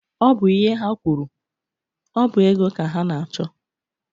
Ọ bụ ihe ha kwuru. Ọ bụ ego ka ha na-achọ.